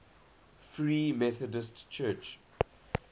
free methodist church